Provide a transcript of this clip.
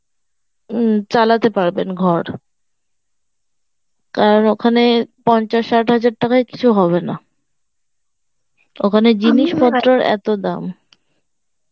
উম চালাতে পারবেন ঘর কারণ ওখানে, পঞ্চাশ ষাট হাজার টাকায় কিছু হবে না ওখানে এত দাম